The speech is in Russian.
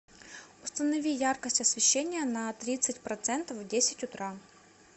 установи яркость освещения на тридцать процентов в десять утра